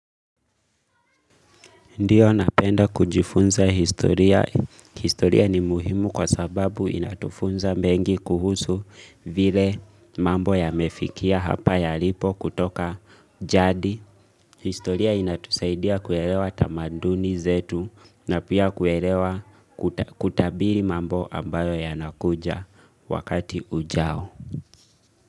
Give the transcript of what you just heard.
Ndiyo napenda kujifunza historia. Historia ni muhimu kwa sababu inatufunza mengi kuhusu vile mambo yamefikia hapa yalipo kutoka jadi. Historia inatusaidia kuelewa tamaduni zetu na pia kuelewa kutabiri mambo ambayo ya nakuja wakati ujao.